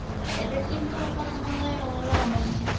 এদের কিন্তু উপাসনালয় হচ্ছে মসজিদ।